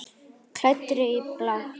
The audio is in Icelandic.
Klæddri í blátt.